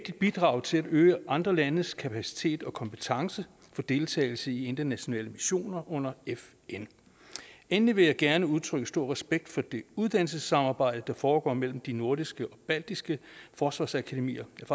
et bidrag til at øge andre landes kapacitet og kompetence til deltagelse i internationale missioner under fn endelig vil jeg gerne udtrykke stor respekt for det uddannelsessamarbejde der foregår mellem de nordiske og baltiske forsvarsakademier jeg